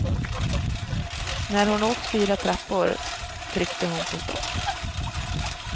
När hon åkt fyra trappor tryckte hon på stopp.